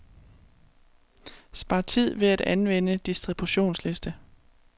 Spar tid ved at anvende distributionsliste.